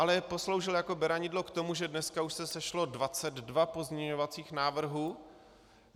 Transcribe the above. Ale posloužil jako beranidlo k tomu, že dneska už se sešlo 22 pozměňovacích návrhů.